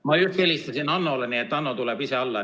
Ma just helistasin Hannole ja nüüd Hanno tuleb ise alla.